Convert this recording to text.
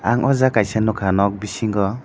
ang o jaga kaisa nugka nog bisingo.